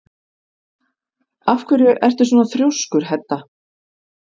Af hverju ertu svona þrjóskur, Hedda?